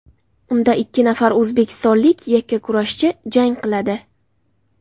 Unda ikki nafar o‘zbekistonlik yakkakurashchi jang qiladi.